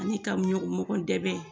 Ani ka ɲɔgɔn ka mɔgɔ dɛmɛ